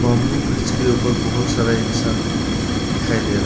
अंबु ब्रिज के ऊपर बहुत सारा इंसान दिखाई दे रहा है।